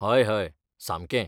हय हय, सामकें.